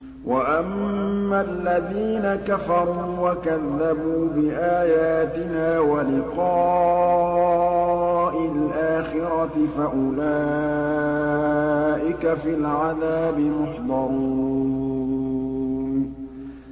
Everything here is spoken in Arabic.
وَأَمَّا الَّذِينَ كَفَرُوا وَكَذَّبُوا بِآيَاتِنَا وَلِقَاءِ الْآخِرَةِ فَأُولَٰئِكَ فِي الْعَذَابِ مُحْضَرُونَ